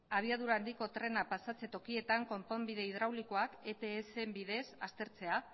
abiadura handiko trena pasatze tokietan konponbide hidraulikoak etsen bidez aztertzea